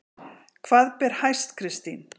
Hvað ber hæst Kristín?